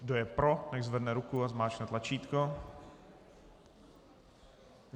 Kdo je pro, nechť zvedne ruku a zmáčkne tlačítko.